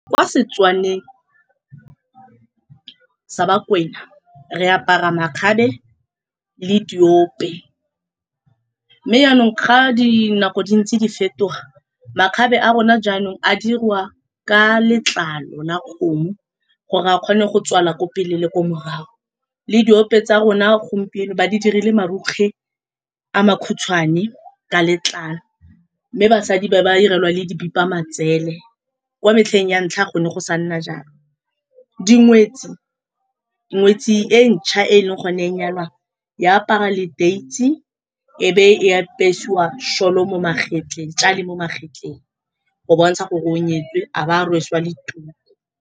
Kwa Setswaneng sa Bakwena re apara makgabe le diope, mme yanong fa dinako di ntse di fetoga, makgabe a rona jaanong a diriwa ka letlalo la kgomo gore a kgone go tswala kwa pele le kwa morago le diope tsa rona gompieno ba di dirile marukgwe a makhutshwane ka letlalo, mme basadi ba ba 'irelwa le dibipa matsele. Kwa metlheng ya ntlha go ne go sa nna jalo, dingwetsi, ngwetsi e ntšha e e leng gone e nyalwang, e apara leteisi e bo e apesiwa sholo mo magetleng go bontsha gore o nyetswe, a ba a rwesiwa le tuku.